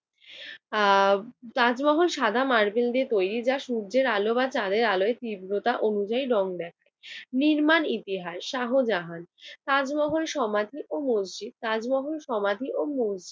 আহ তাজমহল সাদা মার্বেল দিয়ে তৈরি। যা সূর্যের আলো চাঁদের আলোয় তীব্রতা অনুযায়ী রং দেয়। নির্মাণ ইতিহাস, শাহজাহান। তাজমহল সমাধি ও মসজিদ~ তাজমহল সমাধি ও মসজিদ।